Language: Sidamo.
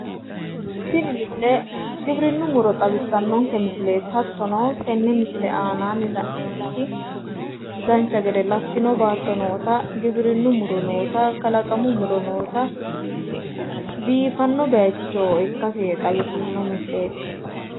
Tini misile giwirinnu muro xawissannonke misileeti hattono tenne misile aanaanni la'neemmoti dancha gede lattino baatto noota giwirinnu muro noota kalaqmu muro noota biifanno bayiicho ikkase xawissanno misileeti.